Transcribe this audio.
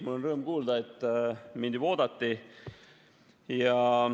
Mul on rõõm kuulda, et mind juba oodati.